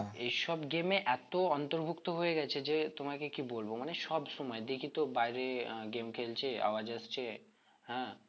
এসব game এ এত অন্তর্ভুক্ত হয়ে গেছে যে তোমাকে কি বলবো মানে সব সময় দেখিতো বাইরে আহ game খেলছে আওয়াজ হচ্ছে হ্যাঁ